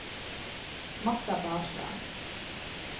Marta Barstad